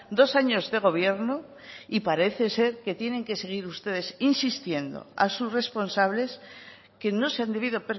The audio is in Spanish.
dos años de gobierno y parece ser que tienen que seguir ustedes insistiendo a sus responsables que no se han debido